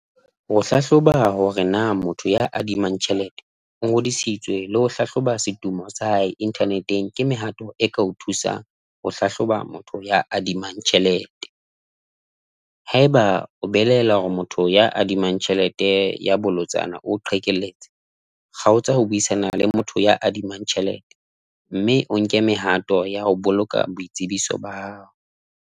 Ho hlahloba hore na motho ya adimang tjhelete o ngodisitswe le ho hlahloba setumo sa hae internet-eng, ke mehato e kao thusang ho hlahloba motho ya adimang tjhelete, haeba o belaela hore motho ya adima tjhelete ya bolotsana o o qhekelletse kgaotsa ho buisana le motho ya adimang tjhelete mme o nke mehato ya ho boloka boitsebiso ba.